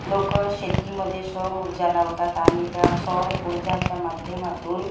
लोकं शेतीमध्ये सौर ऊर्जा लावतात आणि त्या सौर ऊर्जाच्या माध्यमातून--